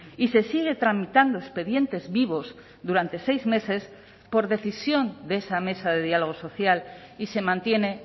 y se sigue tramitando expedientes vivos durante seis meses por decisión de esa mesa de diálogo social y se mantiene